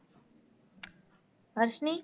Varshini